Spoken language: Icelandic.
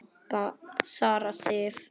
Sara Sif.